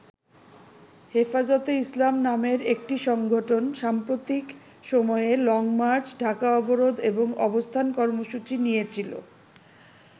হেফাজতে ইসলাম নামের একটি সংগঠন সাম্প্রতিক সময়ে লংমার্চ, ঢাকা অবরোধ এবং অবস্থান কর্মসূচি নিয়েছিল।